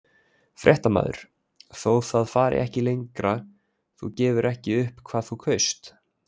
Fréttamaður: Þó það fari ekki lengra, þú gefur ekki upp hvað þú kaust?